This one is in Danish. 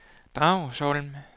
Dragsholm